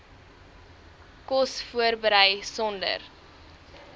kos voorberei sonder